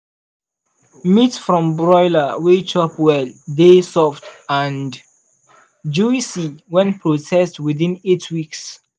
meat from broiler wey chop well dey soft and juicy when processed within eight weeks.